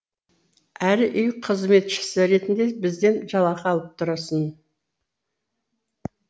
әрі үй қызметшісі ретінде бізден жалақы алып тұрасың